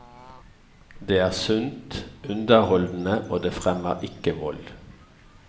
Det er sunt, underholdende og det fremmer ikke vold.